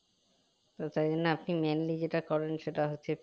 তো তাই জন্যে mainly যেটা করেন সেটা হচ্ছে